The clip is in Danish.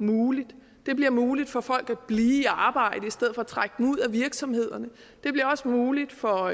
muligt det bliver muligt for folk at blive arbejde i stedet for trukket ud af virksomhederne det bliver også muligt for